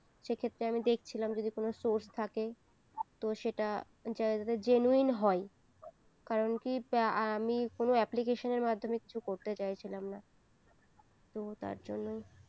সেক্ষেত্রে আমি দেখছিলাম যদি কোনো source থাকে তো সেটা যাতে genuine হয় কারণ কি আমি কোনো application এর মাধমে কিছু করতে চাইছিলাম না তো তার জন্যই